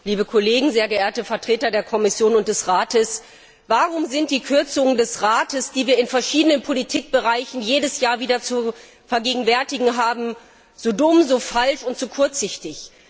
Frau Präsidentin! Liebe Kollegen! Sehr geehrte Vertreter der Kommission und des Rates! Warum sind die Kürzungen des Rates, die wir in verschiedenen Politikbereichen jedes Jahr wieder zu vergegenwärtigen haben, so dumm, so falsch und so kurzsichtig?